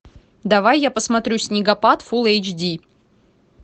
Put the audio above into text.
давай я посмотрю снегопад фул эйч ди